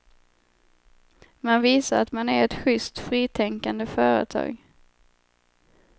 Man visar att man är ett schyst fritänkande företag.